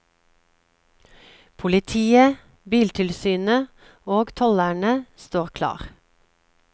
Politiet, biltilsynet og tollerne står klar.